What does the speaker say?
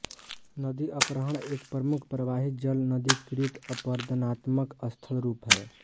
नदी अपहरण एक प्रमुख प्रवाही जल नदी कृत अपरदनात्मक स्थलरुप हैं